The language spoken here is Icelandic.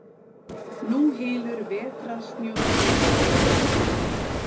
Nú hylur vetrarsnjór gígana.